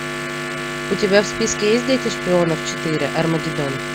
у тебя в списке есть дети шпионов четыре армагедон